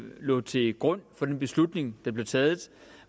lå til grund for den beslutning der blev taget